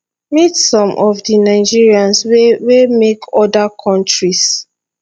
meet some of di nigerians wey wey make oda kontris